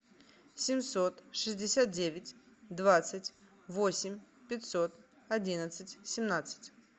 семьсот шестьдесят девять двадцать восемь пятьсот одиннадцать семнадцать